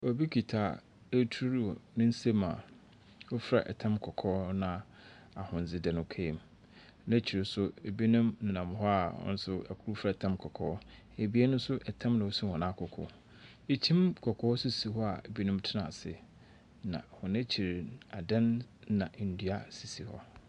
Obi kita aduru wɔ ne nsɛm a ɔfira ɛtam kɔkɔɔ na ahodze da ne kaa mu. Nakyire nso, ebinom nam hɔ a ɔmo nso fira tam kɔkɔɔ. Abien nso ɛtam na esi wɔn akoko. Ekyim kɔkɔɔ sisi hɔ a, ebinom tena ase. Na wɔn akyiri no, adan na nnua sisi hɔ.